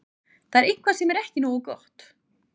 Þetta er eitthvað sem er ekki nógu gott.